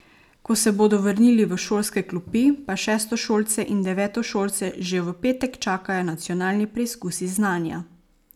Ko se bodo vrnili v šolske klopi, pa šestošolce in devetošolce že v petek čakajo nacionalni preizkusi znanja.